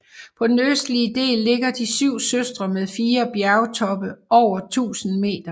På den østlige del ligger De syv søstre med fire bjergtoppe over 1000 meter